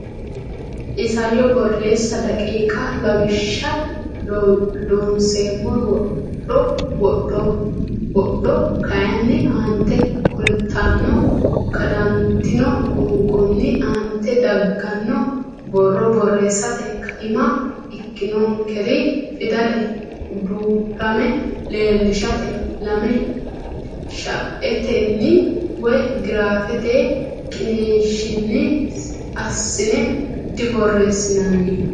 Isayyo Borreessa daqiiqa Lawishsha Loonseemmo wodho wodhdho kayinni aante kultanno Kadantino qoonqonni aante dagganno borro borreessate kaima ikkannonkere fidale duu rama leellishshate lame shaetenni woy giraafete qiniishshinni assine diborreessinanni.